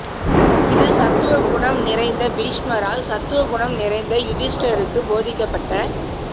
இது சத்துவ குணம் நிறைந்த பீஷ்மரால் சத்வகுணம் நிறைந்த யுதிஷ்டிரருக்கு போதிக்கப்பட்ட